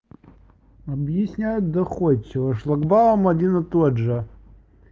объясняю доходчиво шлагбаум один и тот же